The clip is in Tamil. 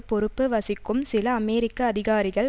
பொறுப்பு வகிக்கும் சில அமெரிக்க அதிகாரிகள்